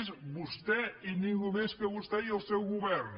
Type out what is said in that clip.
és vostè i ningú més que vostè i el seu govern